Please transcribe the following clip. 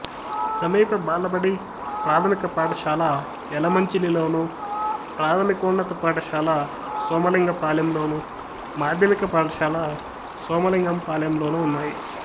సమీప బాలబడి ప్రాథమిక పాఠశాల యలమంచిలిలోను ప్రాథమికోన్నత పాఠశాల సోమలింగపాలెంలోను మాధ్యమిక పాఠశాల సోమలింగపాలెంలోనూ ఉన్నాయి